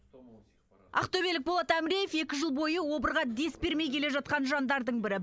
ақтөбелік болат амреев екі жыл бойы обырға дес бермей келе жатқан жандардың бірі